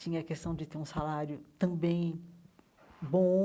Tinha a questão de ter um salário também bom,